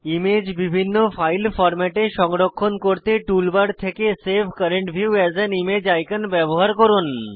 image বিভিন্ন file ফরম্যাটে সংরক্ষণ করতে টুল বার থেকে save current view as an image icon ব্যবহার করুন